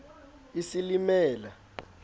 isilimela